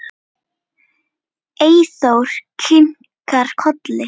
Eyþór kinkar kolli.